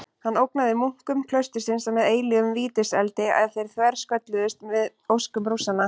Hann ógnaði munkum klaustursins með eilífum vítiseldi ef þeir þverskölluðust við óskum Rússanna.